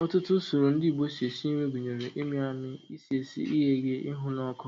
Ọtụtụ usoro ndị Igbo si esi nri gụnyere ịmị amị, isi esi, ighe eghe, ịhụ n'ọkụ